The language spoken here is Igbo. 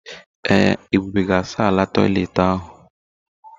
Ee, Ebube ga asa ala toịletị ahụ.